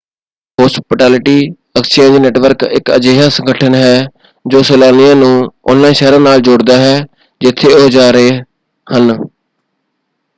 Hospitality exchange network ਇੱਕ ਅਜਿਹਾ ਸੰਗਠਨ ਹੈ ਜੋ ਸੈਲਾਨੀਆਂ ਨੂੰ ਉਨ੍ਹਾਂ ਸ਼ਹਿਰਾਂ ਨਾਲ ਜੋੜਦਾ ਹੈ ਜਿੱਥੇ ਉਹ ਜਾ ਰਹੇ ਹਨ।